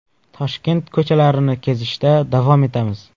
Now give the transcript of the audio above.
Toshkent ko‘chalarini kezishda davom etamiz.